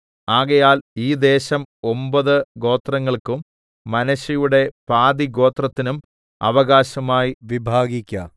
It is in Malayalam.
ആകയാൽ ഈ ദേശം ഒമ്പത് ഗോത്രങ്ങൾക്കും മനശ്ശെയുടെ പാതിഗോത്രത്തിനും അവകാശമായി വിഭാഗിക്ക